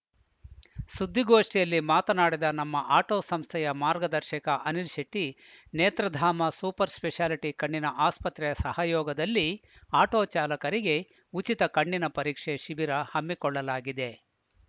ಸುದ್ದಿಗೋಷ್ಠಿಯಲ್ಲಿ ಮಾತನಾಡಿದ ನಮ್ಮ ಆಟೋ ಸಂಸ್ಥೆಯ ಮಾರ್ಗದರ್ಶಕ ಅನಿಲ್‌ ಶೆಟ್ಟಿ ನೇತ್ರಧಾಮ ಸೂಪರ್‌ ಸ್ಪೆಷಾಲಿಟಿ ಕಣ್ಣಿನ ಆಸ್ಪತ್ರೆ ಸಹಯೋಗದಲ್ಲಿ ಆಟೋ ಚಾಲಕರಿಗೆ ಉಚಿತ ಕಣ್ಣಿನ ಪರೀಕ್ಷೆ ಶಿಬಿರ ಹಮ್ಮಿಕೊಳ್ಳಲಾಗಿದೆ